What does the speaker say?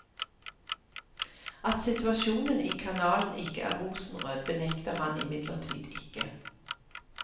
At situasjonen i kanalen ikke er rosenrød benekter han imidlertid ikke.